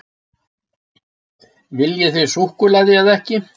Viljið þið súkkulaði eða ekki?